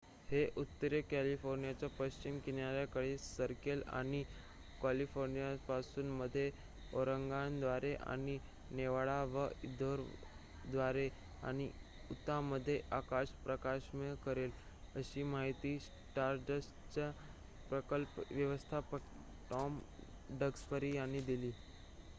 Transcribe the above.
"""हे उत्तरीय कॅलिफोर्नियाच्या पश्चिम किनाऱ्याकडे सरकेल आणि कॅलिफोर्नियापासून मध्य ऑरेगॉनद्वारे आणि नेवाडा व इदाहोद्वारे आणि उताहमध्ये आकाश प्रकाशमय करेल," अशी माहिती स्टारडस्टचे प्रकल्प व्यवस्थापक टॉम डक्सबरी यांनी दिली.